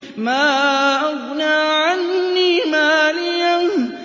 مَا أَغْنَىٰ عَنِّي مَالِيَهْ ۜ